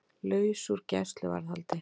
Laus úr gæsluvarðhaldi